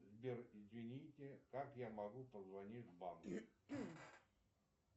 сбер извините как я могу позвонить в банк